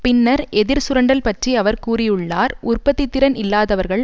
பின்னர் எதிர் சுரண்டல் பற்றி அவர் கூறியுள்ளார் உற்பத்தி திறன் இல்லாதவர்கள்